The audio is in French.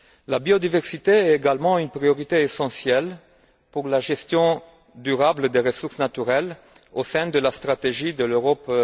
La biodiversité est également une priorité essentielle pour la gestion durable des ressources naturelles au sein de la stratégie Europe